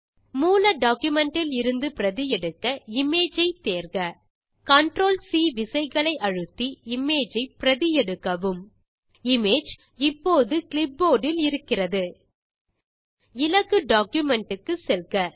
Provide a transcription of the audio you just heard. மூல பைல் இலிருந்து பிரதி எடுக்க இமேஜ் ஐ தேர்க CTRL சி விசைகளை அழுத்தி இமேஜ் ஐ பிரதி எடுக்கவும் இமேஜ் இப்போது கிளிப்போர்ட் இல் இருக்கிறது இலக்கு டாக்குமென்ட் க்கு செல்க